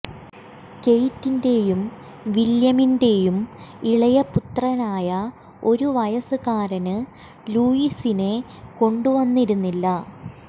കേയ്റ്റിന്റെയും വില്യമിന്റെയും ഇളയ പുത്രനായ ഒരു വയസുകാരന് ലൂയീസിനെ കൊണ്ടു വന്നിരുന്നില്ല